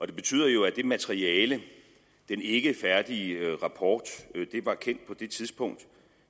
det betyder jo at det materiale den ikkefærdige rapport var kendt på det tidspunkt